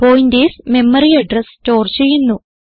pointers memory address store ചെയ്യുന്നു